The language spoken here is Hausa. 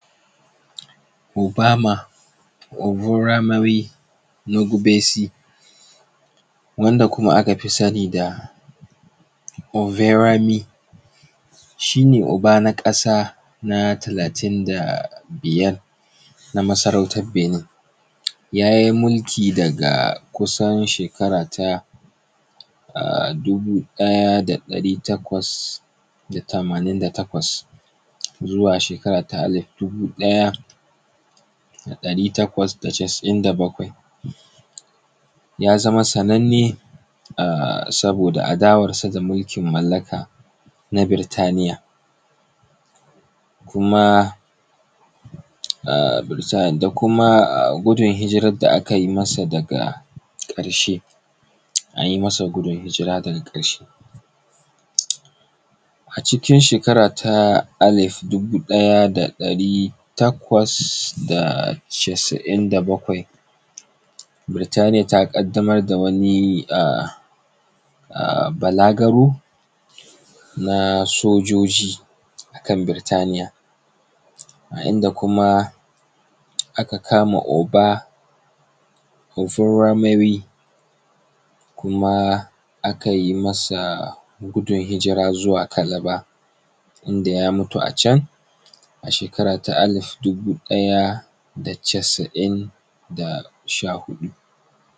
Ubama ubamoriyi nugubesi wanda kuma aka fi sani da oberemi shi ne uba na ƙasa na talatin da biyar na masarautan Binin ya yi mulki daga kusan shekara ta dubu ɗaya da ɗari takwas da tamanin da takwas zuwa shekara ta alif dubu ɗaya da ɗari takwas da casa'in da bakwai. Ya zama sananne saboda adawarsa da mulkin mallaka na burtaniya, da kuma gudun hijirar da aka yi masa daga ƙarshe an yi masa gudun hijira daga ƙarshe. A cikin shekara ta alif dubu ɗaya da ɗari takwas da casa'in da bakwai, burtaniya ta ƙaddamar da wani balagaro na sojoji a kan burtaniya a inda kuma aka kama ubamori kuma akai masa gudun hijira zuwa calabar inda ya mutu a can a shekara ta alif dubu ɗaya da casa'in da sha huɗu.